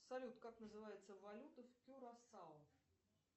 салют как называется валюта в кюрасао